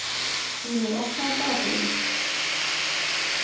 Gýmir, opnaðu dagatalið mitt.